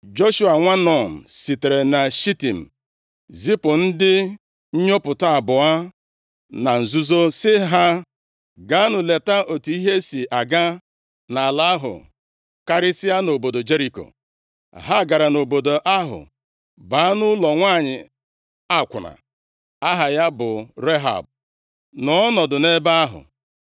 Joshua nwa Nun sitere na Shitim zipụ ndị nnyopụta abụọ na nzuzo sị ha, “Gaanụ leta otu ihe si aga nʼala ahụ, karịsịa nʼobodo Jeriko.” + 2:1 Jeriko bụ obodo ochie e wuru nke ọma, wusikwaa ike. Obodo e ji mgbidi e wusiri ike gbaa gburugburu, nke ọtụtụ iyi, tinyekwara osimiri gbara gburugburu. \+xt Jos 15:1-6\+xt* E wuru ya ka o nwee ike ịnagide atụmatụ ọbụla nke ndị iro na-atụ, maka ịba nʼime ya. O ruru ihe dịka kilomita asatọ ma a na-aga nʼakụkụ ọdịda anyanwụ nke osimiri Jọdan, bụrụkwa ụzọ dị oke mkpa a ga-eji baa nʼala nkwa ahụ. Ha gara nʼobodo ahụ baa nʼụlọ nwanyị akwụna aha ya bụ Rehab nọọ ọnọdụ nʼebe ahụ.